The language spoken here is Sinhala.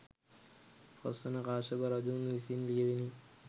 පස්වන කාශ්‍යප රජුන් විසින් ලියැවිණි.